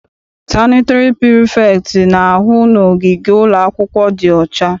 Sanịtịrị prifektị na-ahụ na ogige ụlọakwụkwọ dị ọcha.